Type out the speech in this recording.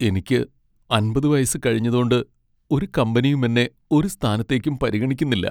എനിക്ക് അമ്പത് വയസ്സ് കഴിഞ്ഞതോണ്ട്, ഒരു കമ്പനിയും എന്നെ ഒരു സ്ഥാനത്തേക്കും പരിഗണിക്കുന്നില്ല.